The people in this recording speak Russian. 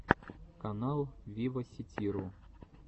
канал виваситиру